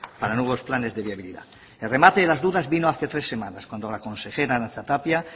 para los nuevos planes de viabilidad el remate de las dudas vino hace tres semanas cuando la consejera arantza tapia